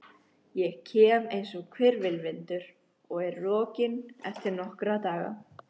Ég kem einsog hvirfilvindur og er rokinn eftir nokkra daga.